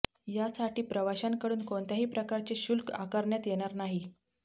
यासाठी प्रवाशांकडून कोणत्याही प्रकारचे शुल्क आकारण्यात येणार नाही